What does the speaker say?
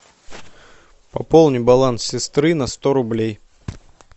пополни баланс сестры на сто рублей